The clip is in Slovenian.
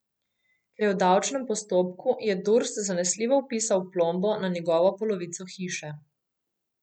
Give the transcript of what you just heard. Ker je v davčnem postopku, je Durs zanesljivo vpisal plombo na njegovo polovico hiše.